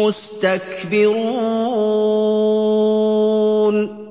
مُّسْتَكْبِرُونَ